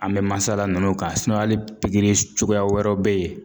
An bɛ mansala ninnu ka hali pikiri s cogoya wɛrɛw be ye